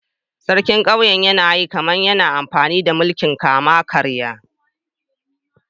Sarkin kauyena yana yi kaman yana amfani da mulki'n kama-karya.